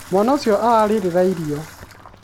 mwana ũcio ararĩrĩra irio